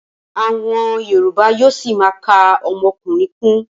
Àwọn yorùbá yóó ṣima ka ọmọkùnrin kún.